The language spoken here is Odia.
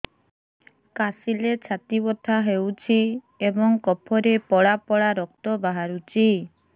କାଶିଲେ ଛାତି ବଥା ହେଉଛି ଏବଂ କଫରେ ପଳା ପଳା ରକ୍ତ ବାହାରୁଚି